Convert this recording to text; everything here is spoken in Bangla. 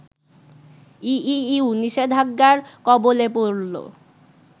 ইইউ নিষেধাজ্ঞার কবলে পড়ল